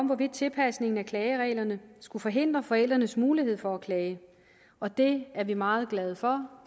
hvorvidt tilpasningen af klagereglerne skulle forhindre forældrenes mulighed for at klage og det er vi meget glade for